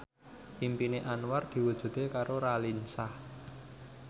impine Anwar diwujudke karo Raline Shah